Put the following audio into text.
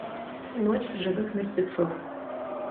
ночь живых мертвецов